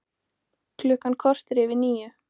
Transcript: Klukkan korter yfir níu